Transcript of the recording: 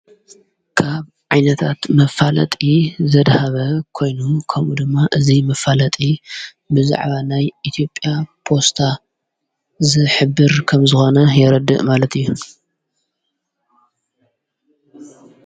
ካብ ዓይነታት መፋለጢ ዘድሃበ ኮይኑ ከምኡ ድማ እዙይ ምፋለጢ ብዛዕባ ናይ ኢቲዮጵያ ፖስታ ዝሕብር ከም ዝኾነ የረድእ ማለት እዩ።